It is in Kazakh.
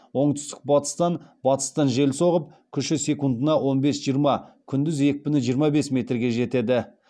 оңтүстік батыстан батыстан жел соғып күші секундына он бес жиырма күндіз екпіні жиырма бес метрге жетеді